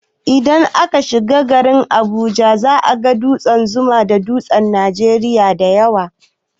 Indan aka shiga garin Abuja, za a ga dutsen zuma da tutan Nigeria dayawa